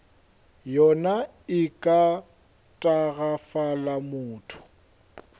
yona e ka tagafala motho